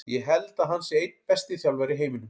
Ég held að hann sé einn besti þjálfari í heiminum.